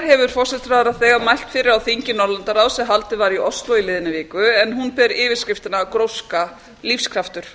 hefur þegar mælt fyrir formennsku okkar á þingi norðurlandaráðs sem haldið var í ósló í liðinni viku en hún ber yfirskriftina gróska lífskraftur